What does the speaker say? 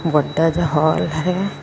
ਵੱਡਾ ਜਾ ਹਾਲ ਹੈ।